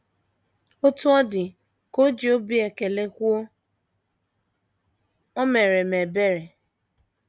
“ Otú ọ dị, ” ka o ji obi ekele kwuo, “ O meere m ebere. ”